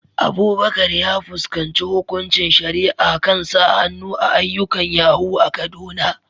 Abubakar ya fuskanci hukuncin shari'a kan sa hannu a ayyukan yahoo a Kaduna.